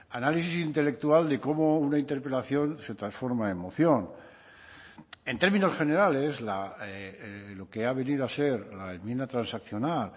análisis intelectual de cómo una interpelación se transforma en moción en términos generales lo que ha venido a ser la enmienda transaccional